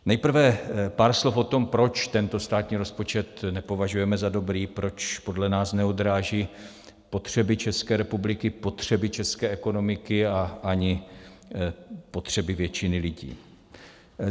Nejprve pár slov o tom, proč tento státní rozpočet nepovažujeme za dobrý, proč podle nás neodráží potřeby České republiky, potřeby české ekonomiky a ani potřeby většiny lidí.